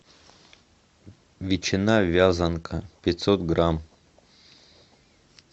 ветчина вязанка пятьсот грамм